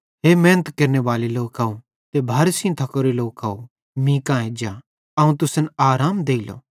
हे मेहनत केरनेबाले लोकव ते भारे सेइं थकोरे लोकव मींका एज्जा अवं तुसन आराम देइलो